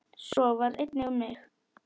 Svo var einnig um mig.